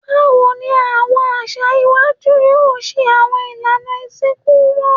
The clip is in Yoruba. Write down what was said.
Bawo ni awọn aṣa iwaju yoo ṣe awọn ilana isinku wọn?